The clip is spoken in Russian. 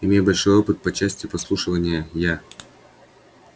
имея большой опыт по части подслушивания я